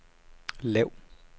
lav